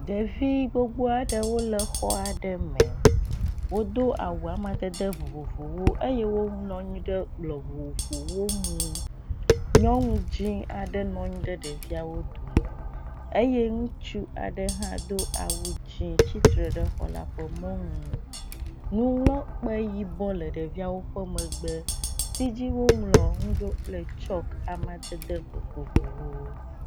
Ɖevi gbogbo aɖewo le xɔ aɖe me. Wodo awu amadede vovovowo eye wonɔ anyi ɖe kplɔ vovowo nu. Nyɔnu dzi aɖe nɔ anyi ɖe ɖeviawo dome eye ŋutsu aɖe hã do awu dzi tsitre ɖe exɔ la ƒe mɔnu. Nuŋlɔkpe yibɔ le ɖeviawo ƒe megbe si dzi woŋlɔ nu ɖo kple tsɔke amadede vovovowo.